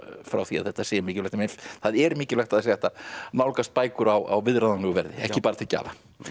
frá því að þetta sé mikilvægt en það er mikilvægt að það sé hægt að nálgast bækur á viðráðanlegu verði ekki bara til gjafa